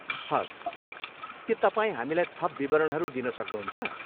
हवस्, के तपाईँ हामीलाई थप विवरणहरू दिन सक्नुहुन्छ?